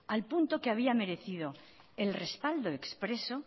al punto que había merecido el respaldo expreso